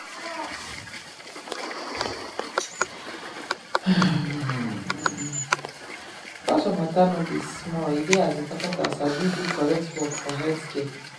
[um]culture matter no be small e dey as important as sabi do correct work for healthcare.